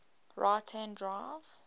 right hand drive